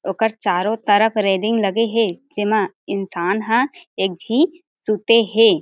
ओकर चारो तरफ रैलिंग लगे हे जेमा इंसान ह एक झी सुते हे।